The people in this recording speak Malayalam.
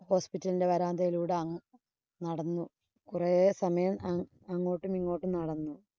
hospital ഇന്‍റെ വരാന്തയിലൂടെ അങ്ങ് നടന്നു. കുറേ സമയം അങ്ങ് അങ്ങോട്ടും, ഇങ്ങോട്ടും നടന്നു.